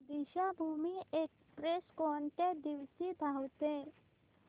Deekshabhoomi express कोणत्या दिवशी धावते